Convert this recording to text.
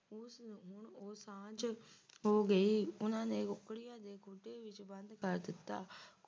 ਤੇ ਸਾਂਝ ਹੋ ਗਈ ਉਨ੍ਹਾਂ ਨੇ ਕੁੱਕੜੀਆਂ ਦੇ ਖੁੱਡੇ ਵਿੱਚ ਬੰਦ ਕਰ ਦਿੱਤਾ